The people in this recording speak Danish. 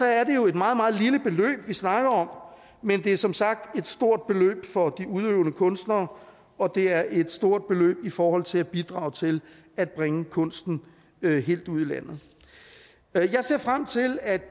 er det jo et meget meget lille beløb vi snakker om men det er som sagt et stort beløb for de udøvende kunstnere og det er et stort beløb i forhold til at bidrage til at bringe kunsten helt ud i landet jeg ser frem til at